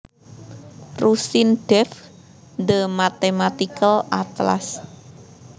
Rusin Dave The Mathematical Atlas